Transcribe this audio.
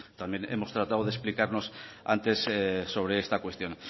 también hemos tratado de explicarnos antes sobre esta cuestión